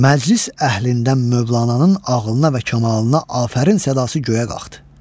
Məclis əhlindən mövlananın ağlına və kamalına afərin sədası göyə qalxdı.